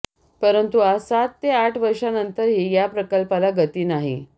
परंतु आज सात ते आठ वर्षानतरही या प्रकल्पाला गती नाही